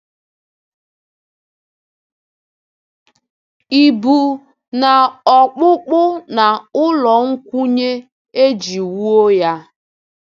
Ị bụ "n’ọkpụkpụ na n’ụlọ nkwụnye e ji wuo ya?".